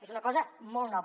és una cosa molt nova